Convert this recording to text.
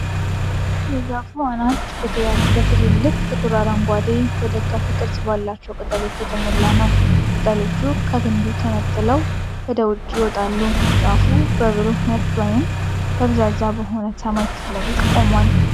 የዛፉ አናት በትልልቅ፣ ጥቁር አረንጓዴ፣ በደጋፊ ቅርጽ ባላቸው ቅጠሎች የተሞላ ነው። ቅጠሎቹ ከግንዱ ተንጣለው ወደ ውጭ ይወጣሉ። ዛፉ በብሩህ፣ ነጭ ወይም በጣም ደብዛዛ በሆነ ሰማይ ፊት ለፊት ቆሟል።